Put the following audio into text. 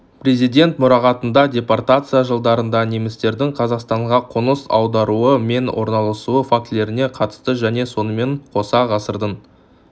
президент мұрағатында депортация жылдарында немістердің қазақстанға қоныс аударуы мен орналасуы фактілеріне қатысты және сонымен қоса ғасырдың